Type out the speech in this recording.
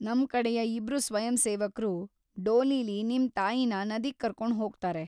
ನಮ್ ಕಡೆಯ ಇಬ್ರು ಸ್ವಯಂಸೇವಕ್ರು ಡೋಲಿಲಿ ನಿಮ್‌ ತಾಯಿನ ನದಿಗ್ ಕರ್ಕೊಂಡ್ ಹೋಗ್ತಾರೆ.